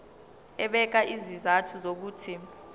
ebeka izizathu zokuthi